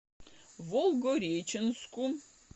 волгореченску